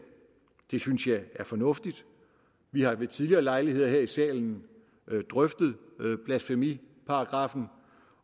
det synes jeg er fornuftigt vi har ved tidligere lejligheder her i salen drøftet blasfemiparagraffen